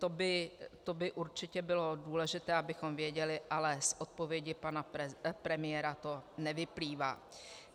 To by určitě bylo důležité, abychom věděli, ale z odpovědi pana premiéra to nevyplývá.